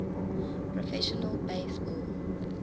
professional base ball